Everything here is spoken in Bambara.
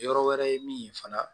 Yɔrɔ wɛrɛ ye min ye fana